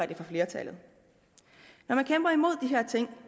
det for flertallet når man kæmper imod de her ting